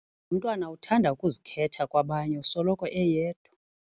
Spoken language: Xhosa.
Lo mntwana uthanda ukuzikhetha kwabanye usoloko eyedwa.